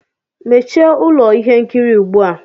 Mechie ụlọ ihe nkiri ugbu a!